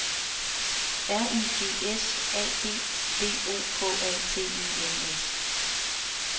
R I G S A D V O K A T E N S